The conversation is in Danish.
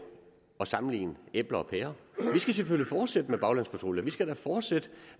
at sammenligne æbler og pærer vi skal selvfølgelig fortsætte med baglandspatruljer vi skal da fortsætte